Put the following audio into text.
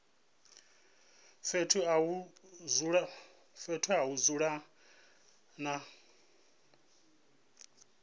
fhethu ha u dzula na